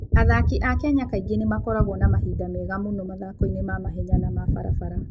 Athaki a Kenya kaingĩ nĩ makoragwo na mahinda mega mũno mathako-inĩ ma mahenya na ma barabara.